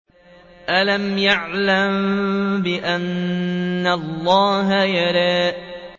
أَلَمْ يَعْلَم بِأَنَّ اللَّهَ يَرَىٰ